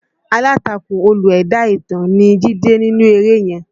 Alátakò Olú ẹ̀dá ìtàn ni Jídé nínú eré yẹn